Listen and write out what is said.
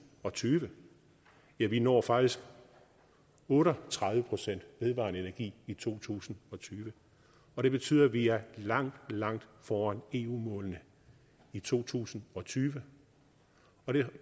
og tyve ja vi når faktisk otte og tredive procent vedvarende energi i to tusind og tyve det betyder at vi er langt langt foran eu målene i to tusind og tyve